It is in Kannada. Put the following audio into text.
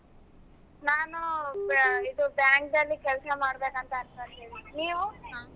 ನಾನು ಇದು bank ಅಲಿ ಕೆಲಸ ಮಾಡಬೇಕು ಅಂತ ಅನಕೊಳ್ತಿದೀನಿ. ನೀವು?